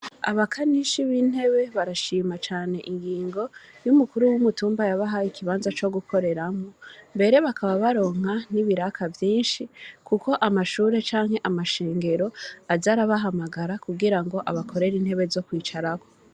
Abakanishi b’intebe barashima cane ingingo y’umukuru w’umutumba yabahaye ikibanza co gukoreramwo; mbere bakaba baronka n’ibiraka vyinshi, kuko amashure canke amashengero, aza arabahamagara, kugira ngo abakorere intebe zo kwicarako.